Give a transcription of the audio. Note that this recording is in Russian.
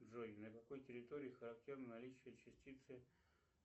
джой для какой территории характерно наличие частицы